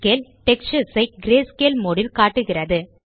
textures ஐ greyscale mode ல் காட்டுகிறது